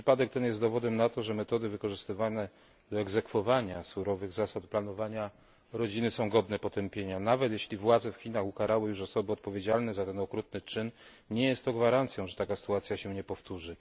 Przypadek ten jest dowodem na to, że metody wykorzystywane do egzekwowania surowych zasad planowania rodziny są godne potępienia, nawet jeśli władze w Chinach ukarały już osoby odpowiedzialne za ten okrutny czyn, nie jest to gwarancją, że taka sytuacja się nie powtórzy.